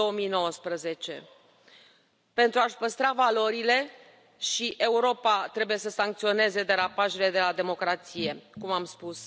2019. Pentru a și păstra valorile și Europa trebuie să sancționeze derapajele de la democrație, cum am spus.